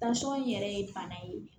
yɛrɛ ye bana ye